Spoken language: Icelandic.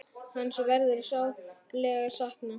Hans verður sárlega saknað.